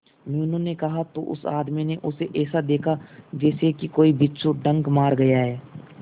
मीनू ने कहा तो उस आदमी ने उसे ऐसा देखा जैसे कि कोई बिच्छू डंक मार गया है